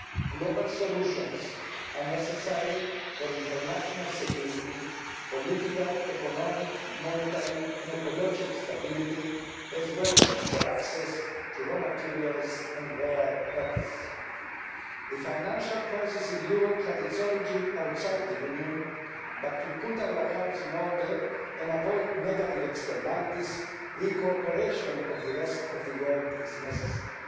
Global solutions are necessary for international security, political, economic, monetary and ecological stability, as well as for access to raw materials and rare earths. The financial crisis in Europe had its origins outside the Union, but to put our house in order and avoid negative externalities, the cooperation of the rest of the world is necessary.